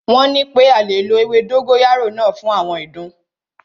Wọ́n nipé a lè lo ewé dógóyárò náà fún àwọn ìdun.